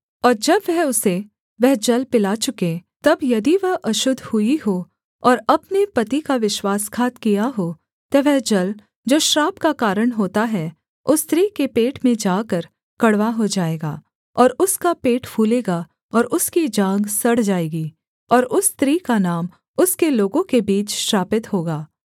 और जब वह उसे वह जल पिला चुके तब यदि वह अशुद्ध हुई हो और अपने पति का विश्वासघात किया हो तो वह जल जो श्राप का कारण होता है उस स्त्री के पेट में जाकर कड़वा हो जाएगा और उसका पेट फूलेगा और उसकी जाँघ सड़ जाएगी और उस स्त्री का नाम उसके लोगों के बीच श्रापित होगा